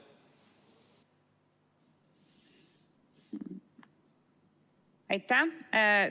Aitäh!